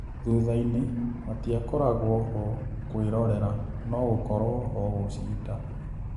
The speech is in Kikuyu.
Thuthainĩ, matiakoragwoho kũĩrorera, no-gũkorwoho gũcinda."